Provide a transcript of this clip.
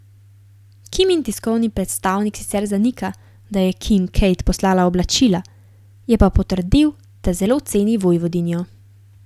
Kimin tiskovni predstavnik sicer zanika, da je Kim Kate poslala oblačila, je pa potrdil, da zelo ceni vojvodinjo.